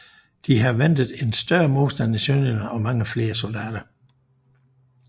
De havde ventet større modstand i Sønderjylland og mange flere soldater